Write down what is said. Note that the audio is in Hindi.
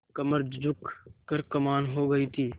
कमर झुक कर कमान हो गयी थी